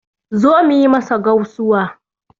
Zo mu yi masa gausuwa